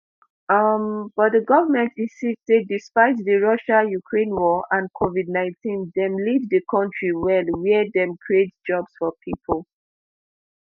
um but di goment insist say despite di russia-ukraine war and covid nineteen dem lead di kontri well wia dem create jobs for pipo